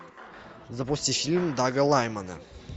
запусти фильм дага лаймана